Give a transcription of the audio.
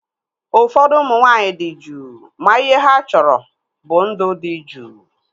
Ụfọdụ ụmụ nwaanyị dị juu ma ihe ha chọrọ bụ ndụ dị juu